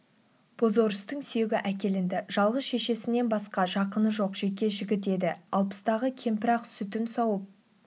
бозорыстың сүйегі әкелінді жалғыз шешесінен басқа жақыны жоқ жеке жігіт еді алпыстағы кемпір ақ сүтін сауып